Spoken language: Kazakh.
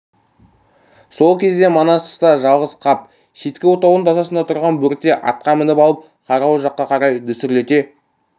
сол кезде манас тыста жалғыз қап шеткі отаудың тасасында тұрған бөрте атқа мініп алып қарауыл жаққа қарай дүсірлете